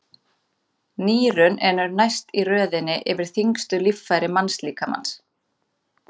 Nýrun eru næst í röðinni yfir þyngstu líffæri mannslíkamans.